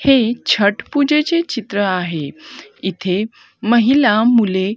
हे छट पूजेचे चित्र आहे इथे महिला मुले--